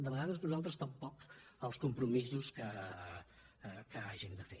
de vegades nosaltres tampoc els compromisos que hàgim de fer